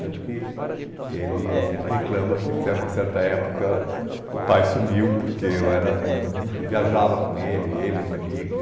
Tanto que ele sempre reclama que, a uma certa época, o pai sumiu porque era eu viajava com ele, ele e os amigos.